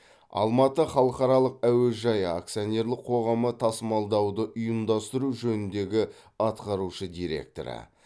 алматы халықаралық әуежайы акционерлік қоғамы тасымалдауды ұйымдастыру жөніндегі атқарушы директоры